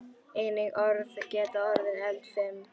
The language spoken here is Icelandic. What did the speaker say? Einnig orð geta orðið eldfim.